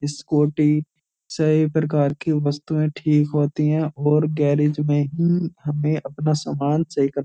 scooty सही प्रकार की वस्तुएं ठीक होती हैं और गैरिज में ही हमें अपना सामान सही कर --